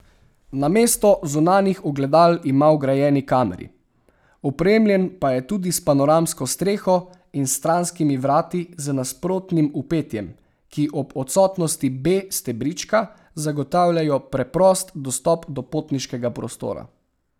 Namesto zunanjih ogledal ima vgrajeni kameri, opremljen pa je tudi s panoramsko streho in stranskimi vrati z nasprotnim vpetjem, ki ob odsotnosti B stebrička zagotavljajo preprost dostop do potniškega prostora.